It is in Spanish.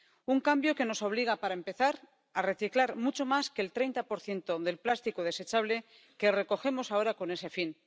Un cambio que nos obliga, para empezar, a reciclar mucho más que el 30 del plástico desechable que recogemos ahora con ese fin.